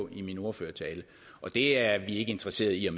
i min ordførertale og det er vi ikke interesseret i at